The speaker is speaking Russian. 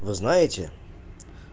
вы знаете